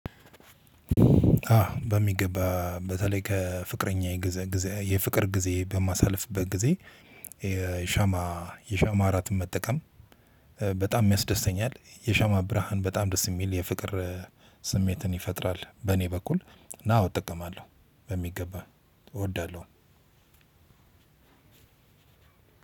በሚገባ በተለይ ከፍቅረኛየ የፍቅር ጊዜ በማሳልፍበት ጊዜ ሻማ የሻማ እራትን መጠቀም በጣም ያስደስተኛል የሻማ ብርሃን በጣም ደስ የሚል የፍቅር ስሜትን ይፈጥራል። በእኔ በኩል እና አወ እጠቀማለሁ በሚገባ እወዳለሁ።